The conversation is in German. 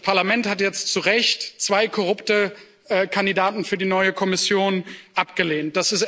Das Parlament hat jetzt zu Recht zwei korrupte Kandidaten für die neue Kommission abgelehnt.